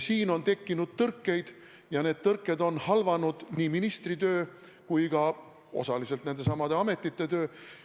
Siin on tekkinud tõrkeid ja need on halvanud nii ministri töö kui ka osaliselt nendesamade ametite töö.